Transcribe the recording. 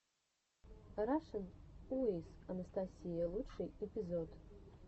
рашн уиз анастасия лучший эпизод